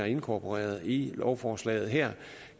inkorporeret i lovforslaget her